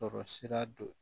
Sɔrɔ sira dɔ